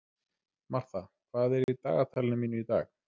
Martha, hvað er í dagatalinu mínu í dag?